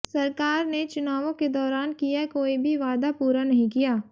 सरकार ने चुनावों के दौरान किया कोई भी वादा पूरा नहीं किया